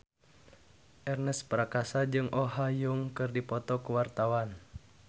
Ernest Prakasa jeung Oh Ha Young keur dipoto ku wartawan